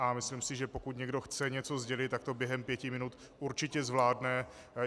A myslím si, že pokud někdo chce něco sdělit, tak to během pěti minut určitě zvládne.